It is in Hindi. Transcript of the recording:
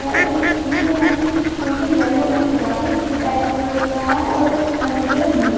ऐ और जो थीम है यहां की यहां की येलो एंड व्हाइट जो पैरोट कलर होता है और सामने के तरफ ब्लू ।